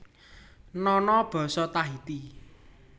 Nono basa Tahiti